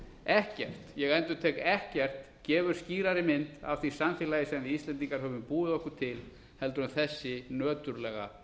ekkert ég endurtek ekkert gefur skýrari mynd af því samfélagi sem við íslendingar höfum búið okkur til heldur en þessi nöturlega